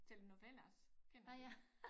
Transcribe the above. Telnovelas kender du